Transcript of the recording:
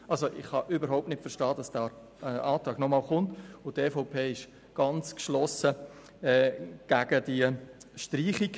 » Ich kann überhaupt nicht verstehen, weshalb dieser Antrag noch einmal gestellt wird, und die EVP ist geschlossen gegen die Streichung.